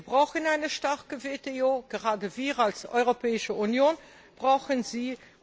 Wir brauchen eine starke WTO gerade wir als Europäische Union brauchen sie.